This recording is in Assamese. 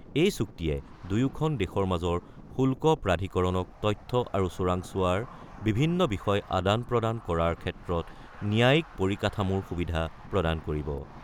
এই চুক্তিয়ে দুয়োখন দেশৰ মাজৰ শুল্ক প্ৰাধিকৰণক তথ্য আৰু চোৰাংচোৱাৰ বিভিন্ন বিষয় আদান-প্ৰদান কৰাৰ ক্ষেত্ৰত ন্যায়িক পৰিকাঠামোৰ সুবিধা প্ৰদান কৰিব।